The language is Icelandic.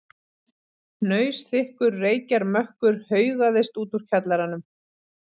Hnausþykkur reykjarmökkur haugaðist út úr kjallaranum.